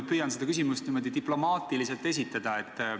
Ma püüan selle küsimuse diplomaatiliselt esitada.